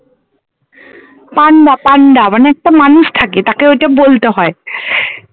পান্ডা পান্ডা মানে একটা মানুষ থাকে তাকে ঐটা বলতে হয়